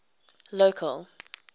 local